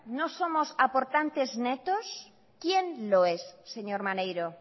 no somos aportantes netos quién lo es señor maneiro